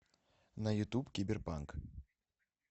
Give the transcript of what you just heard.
на ютуб кибер панк